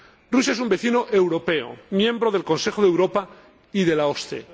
Rusia es un vecino europeo, miembro del Consejo de Europa y de la OSCE.